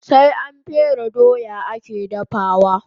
Sai an fere doya ake dafawa